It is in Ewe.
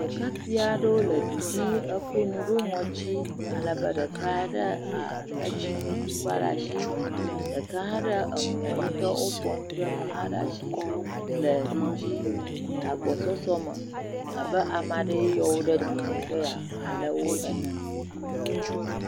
Ɖekakpui aɖewo le dudzi kɔ nu ɖɔ ŋɔti alebɛ ɖeka ade tsinutukpa ɖe asi ɖeka ha le mɔ yike woƒoa nu ɖe eme ha ɖe asi le dudzi le agbɔsɔsɔ me abe ame aɖe yɔm ɖe dunu be yeale wo ene